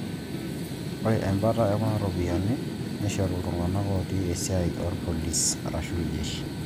Ore embata e kuna ropiyiani neishori iltung'anka ooti esiai orpolisi/iljeshi